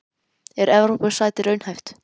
Er Evrópusæti raunhæft?